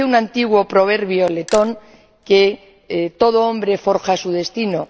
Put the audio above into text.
Dice un antiguo proverbio letón que todo hombre forja su destino.